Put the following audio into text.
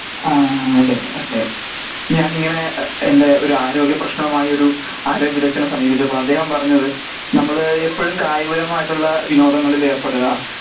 ആ ആ അതേ അതേ ഞാൻ ഇങ്ങനെ എന്റെ ഒരു ആരോഗ്യ പ്രശ്നവുമായി ഒരു ആരോഗ്യ വിദഗ്ദ്നെ സമീപിച്ചപ്പോൾ അദ്ദേഹം പറഞ്ഞത് നമ്മൾ എപ്പോഴും കായികപരമായിട്ടുള്ള വിനോദങ്ങളിൽ ഏർപ്പെടുക